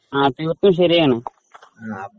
പറഞ്ഞത് ശരിയാണ്.